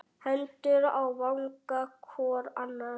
Hendur á vanga hvor annars.